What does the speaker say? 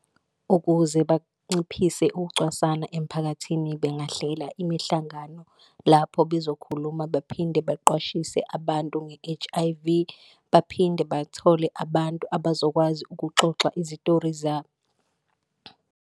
Ukuze banciphise ukucwasana emiphakathini bengahlela imihlangano lapho bezokhuluma baphinde baqwashiswe abantu nge-H_I_V, baphinde bathole abantu abazokwazi ukuxoxa izitori zabo.